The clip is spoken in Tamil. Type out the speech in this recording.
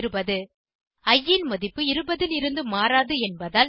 இ ன் மதிப்பு 20 இருந்து மாறாது என்பதால்